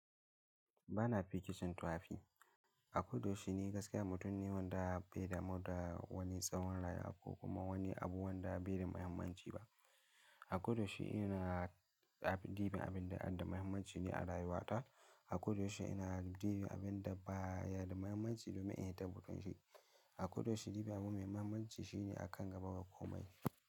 Ba na fiki son tu'afi. A koda yaushe ni gaskiyar mutum ne wanda bai damu da wani tsawon rayuwa ko kuma wani abu wanda bai da muhimmanci ba. A koda yaushe ina ɗibi abin da ada muhimmanci ne a rayuwata. A koda yaushe ina ɗibi abin da baya da muhimmanci domin in tabbatar shi. A koda yaushe ɗibi abu mai muhimmanci shi ne a kan gaba ga komai.